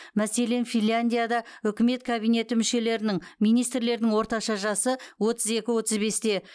мәселен финляндияда үкімет кабинеті мүшелерінің министрлердің орташа жасы отыз екі отыз бесте